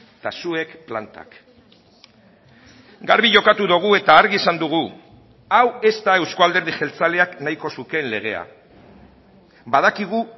eta zuek plantak garbi jokatu dugu eta argi esan dugu hau ez da euzko alderdi jeltzaleak nahiko zukeen legea badakigu